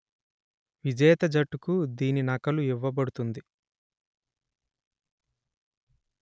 విజేత జట్టుకు దీని నకలు ఇవ్వబడుతుంది